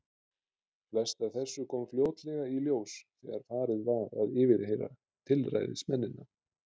Flest af þessu kom fljótlega í ljós þegar farið var að yfirheyra tilræðismennina.